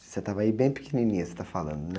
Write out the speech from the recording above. Você estava aí bem pequenininha, você está falando, né?